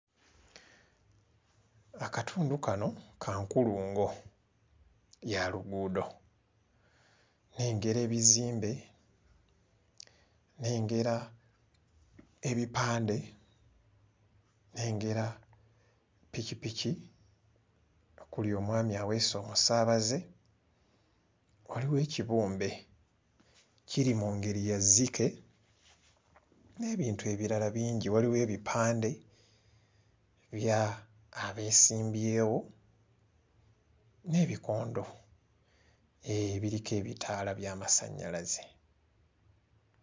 Akatundu kano ka nkulungo ya luguudo. Nnengera ebizimbe, nnengera ebipande, nnengera pikipiki okuli omwami aweese omusaabaze, waliwo ekibumbe kiri mu ngeri ya zzike n'ebintu ebirala bingi. Waliwo ebipande by'abeesimbyewo n'ebikondo ebiriko ebitaala by'amasannyalaze.